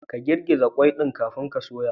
Ka girgiza qwai ɗin kafin a soya.